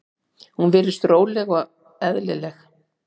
Hún virðist róleg og eðlileg.